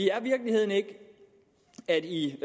er virkeligheden ikke at i